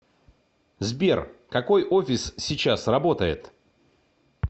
сбер какой офис сейчас работает